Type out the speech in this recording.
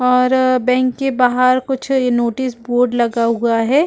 और अअअ बैंक के बाहर कुछ नोटिस बोर्ड लगा हुआ है।